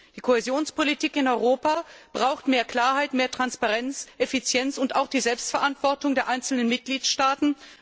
Die Kohäsionspolitik in Europa braucht mehr Klarheit, mehr Transparenz, Effizienz und auch die Selbstverantwortung der einzelnen Mitgliedstaaten.